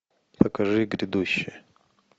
покажи грядущее